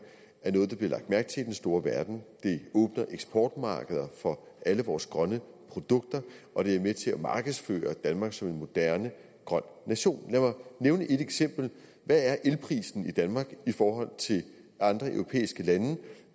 er noget der bliver lagt mærke til i den store verden det åbner eksportmarkeder for alle vores grønne produkter og det er med til at markedsføre danmark som en moderne grøn nation lad mig nævne et eksempel hvad er elprisen i danmark i forhold til andre europæiske lande